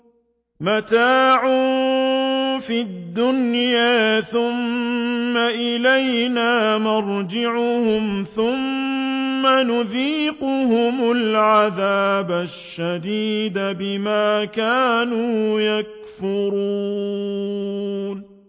مَتَاعٌ فِي الدُّنْيَا ثُمَّ إِلَيْنَا مَرْجِعُهُمْ ثُمَّ نُذِيقُهُمُ الْعَذَابَ الشَّدِيدَ بِمَا كَانُوا يَكْفُرُونَ